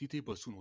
तिथे बसून